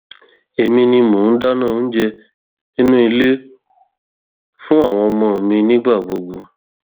èmi ni mò ń dáná oúnjẹ nínú ilé fún àwọn ọmọ mi nígbà gbogbo